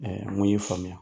mun y'i faamuya